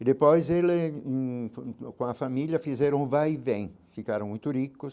E depois ele hum com a família fizeram um vai-vém, ficaram muito ricos.